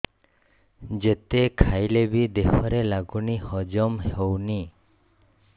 ଯେତେ ଖାଇଲେ ବି ଦେହରେ ଲାଗୁନି ହଜମ ହଉନି